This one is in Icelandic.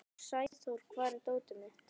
Sæþór, hvar er dótið mitt?